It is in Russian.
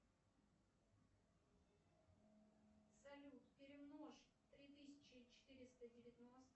салют перемножь три тысячи четыреста девяносто